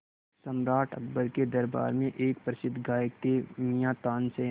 सम्राट अकबर के दरबार में एक प्रसिद्ध गायक थे मियाँ तानसेन